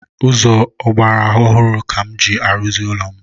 Ụzọ ọgbaraọhụrụ ka m ji arụzi ụlọ m